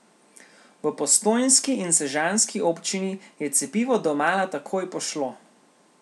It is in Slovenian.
V postojnski in sežanski občini je cepivo domala takoj pošlo!